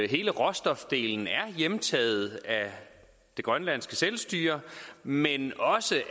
hele råstofdelen er hjemtaget af det grønlandske selvstyre men også